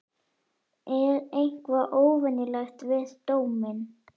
Er eitthvað óvenjulegt við dóminn?